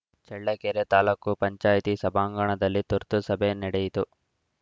ಚಳ್ಳಕೆರೆ ತಾಲೂಕು ಪಂಚಾಯಿತಿ ಸಭಾಂಗಣದಲ್ಲಿ ತುರ್ತು ಸಭೆ ನಡೆಯಿತು